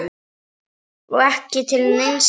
Vera ekki til neins gagns.